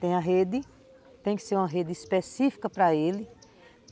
Tem a rede, tem que ser uma rede específica para ele.